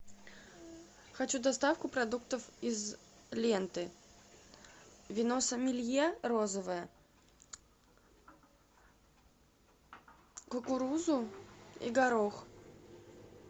хочу доставку продуктов из ленты вино сомелье розовое кукурузу и горох